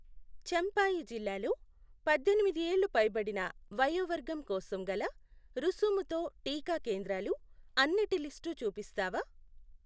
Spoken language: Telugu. చంఫాయి జిల్లాలో పద్దెనిమిది ఏళ్లు పైనడిన వయోవర్గం కోసం గల రుసుముతో టీకా కేంద్రాలు అన్నటి లిస్టు చూపిస్తావా?